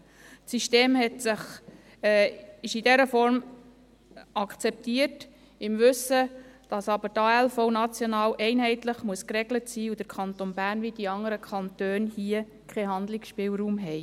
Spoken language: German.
Das System ist in dieser Form akzeptiert, im Wissen, dass die ALV national einheitlich geregelt werden muss und dass der Kanton Bern, wie die anderen Kantone, keinen Handlungsspielraum hat.